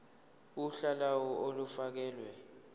uhla lawo olufakelwe